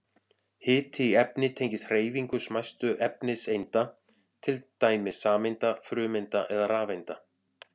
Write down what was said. Hiti í efni tengist hreyfingu smæstu efniseinda, til dæmis sameinda, frumeinda eða rafeinda.